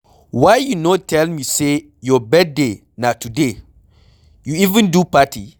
Why you no tell me say your birthday na today? You even do party